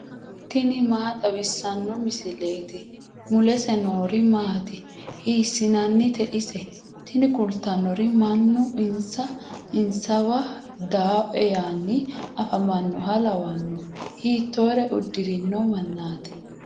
tini maa xawissanno misileeti ? mulese noori maati ? hiissinannite ise ? tini kultannori mannu insa insawa dawoe yaanni afamannoha lawanno. hiittore uddirino mannaati